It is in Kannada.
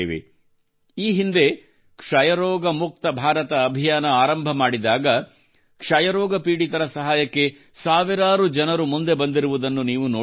ಈ ಹಿಂದೆ ಕ್ಷಯರೋಗ ಮುಕ್ತ ಭಾರತ ಅಭಿಯಾನ ಆರಂಭ ಮಾಡಿದಾಗ ಕ್ಷಯರೋಗ ಪೀಡಿತರ ಸಹಾಯಕ್ಕೆ ಸಾವಿರಾರು ಜನರು ಮುಂದೆ ಬಂದಿರುವುದನ್ನು ನೀವು ನೋಡಿರಬಹುದು